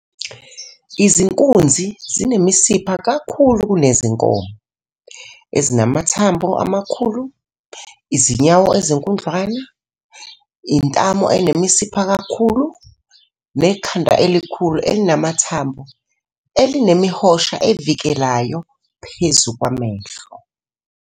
Izinkunzi zinemisipha kakhulu kunezinkomo, ezinamathambo amakhulu, izinyawo ezinkudlwana, intamo enemisipha kakhulu, nekhanda elikhulu elinamathambo elinemihosha evikelayo phezu kwamehlo.